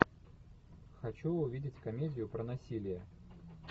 хочу увидеть комедию про насилие